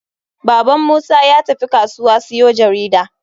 Baban musa yatafi kasuwa siyo jarida.